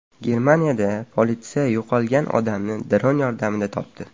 Germaniyada politsiya yo‘qolgan odamni dron yordamida topdi.